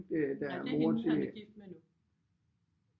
Nej det er hende han er gift med nu